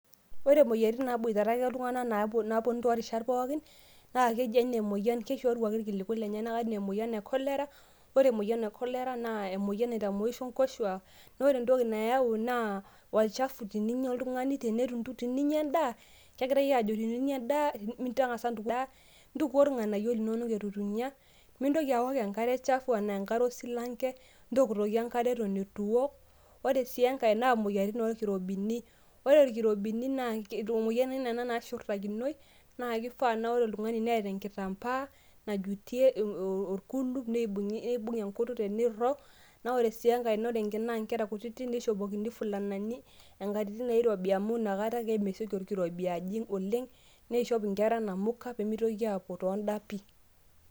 Ore moyiaritin naboitare ake iltunganak naa naponu ake toorishat pookin na keji ake ninye emoyian keishoruaki irkiliku lenyenak anaa emoyian e colera ,ore emoyian e colera naa emoyian naitamoisho nkoshuak na ore entoki nayau naa olchafu teninya oltungani, teninya endaa kegirai ajo teninyaa endaa tangasa ntukuo irnganayio linonok ituinya, mintoki aook enkare chafu ana enkare esilanke, ntokitokie enkare atan itu iwuok, ore si enkai naa moyiaritin orkirobini ore irkirobini naa moyiaritin nashurtakinoi na kefaa na ore oltungani neeta enkitambaa najuitie orkuluk neibung enkutuk teneirog na ore si enkae na ore nkulie anaa nkera kutitik nishopokini fulanani tonkajijik nairobi amu nakata ake mitoki orkirobi ajing oleng niishop nkera namuka mitoki apuo toondapi .